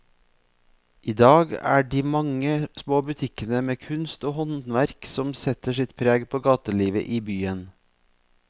I dag er det de mange små butikkene med kunst og håndverk som setter sitt preg på gatelivet i byen.